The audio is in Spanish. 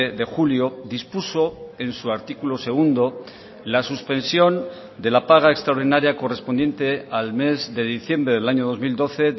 de julio dispuso en su artículo segundo la suspensión de la paga extraordinaria correspondiente al mes de diciembre del año dos mil doce